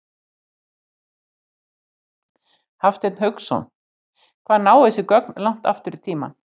Hafsteinn Hauksson: Hvað ná þessi gögn langt aftur í tímann?